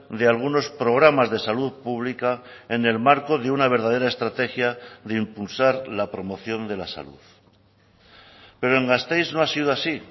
de algunos programas de salud pública en el marco de una verdadera estrategia de impulsar la promoción de la salud pero en gasteiz no ha sido así